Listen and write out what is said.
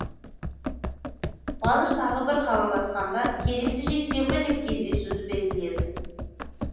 қуаныш тағы бір хабарласқанда келесі жексенбі деп кездесуді белгіледі